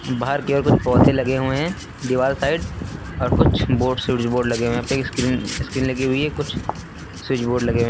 बाहर की ओर कुछ पौधे लगे हुए हैं दीवार साइड और कुछ बोर्ड स्विच बोर्ड लगे हुए हैं कई स्क्रीन स्क्रीन लगी हुई है कुछ स्विच बोर्ड लगे हुए हैं।